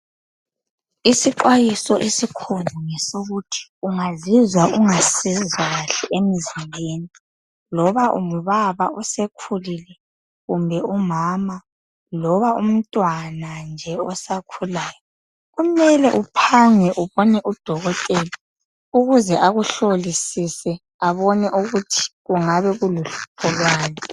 Isixwayiso esikhona ngesokuthi ungazizwa ungasezwa kahle emzimbeni loba ungubaba osekhulile kumbe umama loba umntwana nje osakhulayo kumele uphange ubone udokotela ukuze akuhlolisise abone ukuthi kungabe kuluhlupho lwani.